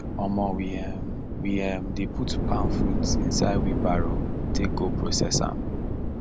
um we um we um dey put palm fruit inside wheelbarrow take go process am